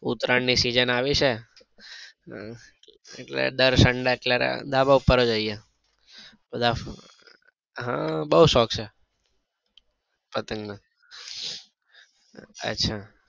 ઉત્તરાયણ ની સીઝન આવી છે એટલે દર sunday અત્યારે ધાબા પર જ હોઈએ બધા હમ બઉ શોખ છે પતંગ નો